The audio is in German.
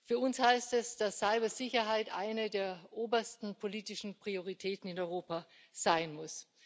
Für uns heißt das, dass Cybersicherheit eine der obersten politischen Prioritäten in Europa sein muss.